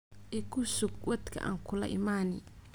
Ikusuug wadka aan kula imani.